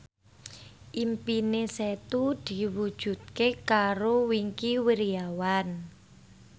impine Setu diwujudke karo Wingky Wiryawan